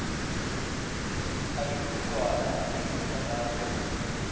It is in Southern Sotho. a dipudulwana a dimenerale ho